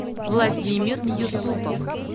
владимир юсупов